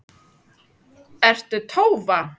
Ertu Tólfa?